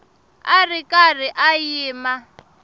a ri karhi a yima